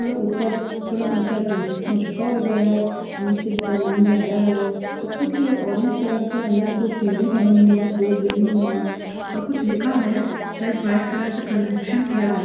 --थोड़ा उपर थोडा ऊँचा झुका हुआ है नीचे ढलान ज्यादा है और कुछ ऑरेंज कलर से अंदर कुछ सीढ़ी बनी हुई है दो गई हुई है और कुछ लिखा है शायद व्हाइट कलर से कनेक्शन किया गया--